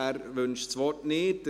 – Er wünscht das Wort nicht.